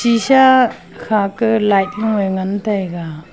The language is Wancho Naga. tisa kha ka light lo ye ngan taiga.